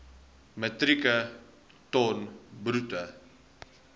metrieke ton bruto